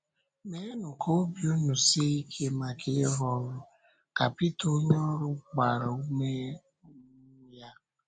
“Mèenụ ka obi ùnụ sie ike maka ịrụ ọrụ,” ka Pítà onye ọ̀rụ gbàrà ume um ya.